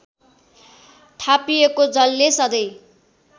थापिएको जलले सधैँ